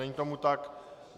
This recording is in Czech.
Není tomu tak.